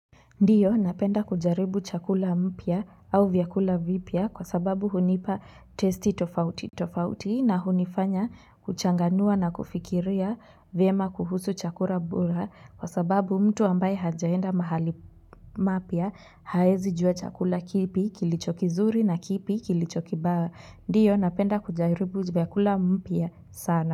Ndiyo napenda kujaribu chakula mpya au vyakula vipya kwa sababu hunipa testi tofauti tofauti na hunifanya kuchanganua na kufikiria vyema kuhusu chakula bora kwa sababu mtu ambaye hajaenda mahali mapya haezi jua chakula kipi kilichokizuri na kipi kilichokibaya. Ndiyo napenda kujaribu vyakula mpia sana.